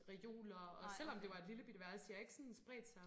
Reoler og selvom det var et lillebitte værelse de har ikke sådan spredt sig